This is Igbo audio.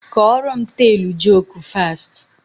Kọrọ m teelụ joku fast!